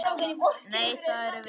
Nei, það erum við.